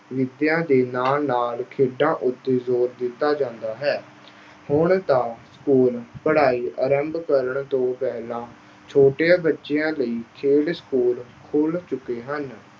ਵਿੱਦਿਆ ਦੇ ਨਾਲ ਨਾਲ ਖੇਡਾਂ ਉੱਤੇ ਜ਼ੋਰ ਦਿੱਤਾ ਜਾਂਦਾ ਹੈ। ਹੁਣ ਤਾਂ school ਪੜ੍ਹਾਈ ਆਰੰਭ ਕਰਨ ਤੋਂ ਪਹਿਲਾਂ ਛੋਟੇ ਬੱਚਿਆਂ ਲਈ ਖੇਡ school ਖੋਲ੍ਹ ਚੁੱਕੇ ਹਨ।